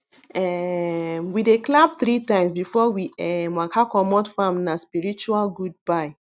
um we dey clap three times before we um waka comot farmna spiritual goodbye